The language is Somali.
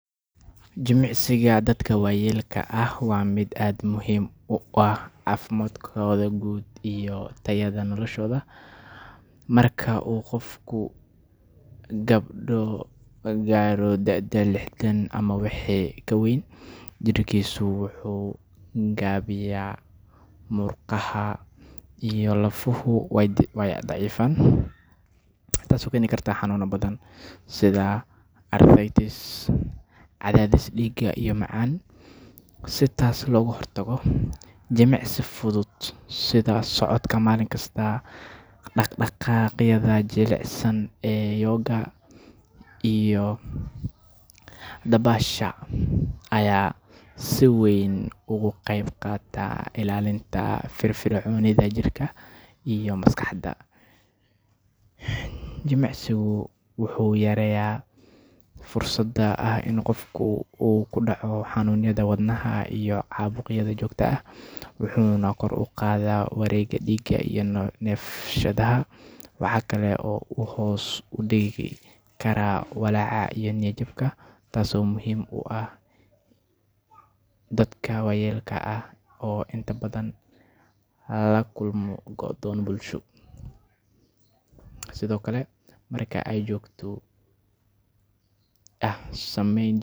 Jimicsiga dadka waayeelka ah waa mid aad muhiim ugu ah caafimaadkooda guud iyo tayada noloshooda. Marka uu qofku gaadho da’da lixdan ama wixii ka weyn, jidhkiisu wuu gaabiyaa, murqaha iyo lafohu way daciifaan, taasoo keeni karta xanuunno badan sida arthritis, cadaadis dhiig, iyo macaan. Si taas looga hortago, jimicsi fudud sida socodka maalin kasta, dhaq-dhaqaaqyada jilicsan ee yoga, iyo dabaasha ayaa si weyn uga qayb qaata ilaalinta firfircoonida jirka iyo maskaxda. Jimicsigu wuxuu yareeyaa fursadda ah in qofku uu ku dhaco xanuunada wadnaha iyo caabuqyada joogtada ah, wuxuuna kor u qaadaa wareegga dhiigga iyo neefsashada. Waxa kale oo uu hoos u dhigi karaa walaaca iyo niyad-jabka, taasoo muhiim u ah dadka waayeelka ah oo inta badan la kulma go'doon bulsho. Sidoo kale, marka ay si joogto ah u sameeyaan.